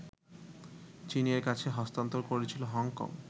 চীনের কাছে হস্তান্তর করেছিল হংকং